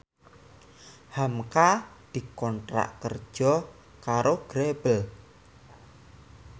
hamka dikontrak kerja karo Grebel